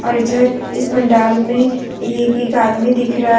इधर इस पंडाल में ये एक आदमी दिख रहा है।